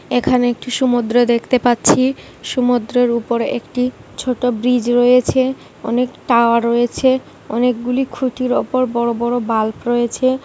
এখানে একটু সমুদ্র দেখতে পাচ্ছি। সমুদ্রের উপর একটি ছোট ব্রিজ রয়েছে। অনেক টাওয়ার রয়েছে। অনেক গুলি খুঁটির ওপর বড়ো বড়ো বাল্প রয়েছে।